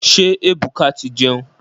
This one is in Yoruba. Ṣé Ebuka ti ń jẹun.